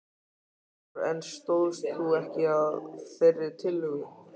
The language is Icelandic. Kristján Már: En stóðst þú ekki að þeirri tillögu?